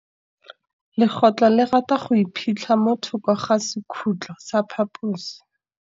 Legôtlô le rata go iphitlha mo thokô ga sekhutlo sa phaposi.